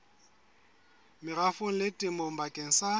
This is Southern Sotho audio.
merafong le temong bakeng sa